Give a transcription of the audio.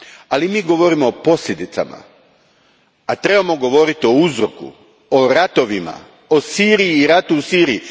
Ali mi govorimo o posljedicama, a trebamo govoriti o uzroku, o ratovima, o Siriji i ratu u Siriji.